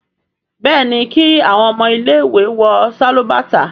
béèni kí awọn ọmọ ile-iwe wọ Sálúbàtà.